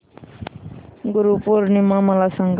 गुरु पौर्णिमा मला सांग